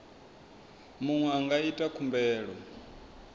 muṅwe a nga ita khumbelo